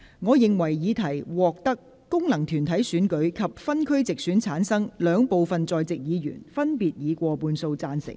我認為議題獲得經由功能團體選舉產生及分區直接選舉產生的兩部分在席議員，分別以過半數贊成。